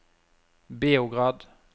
Beograd